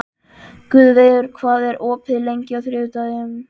Guðveigur, hvað er opið lengi á þriðjudaginn?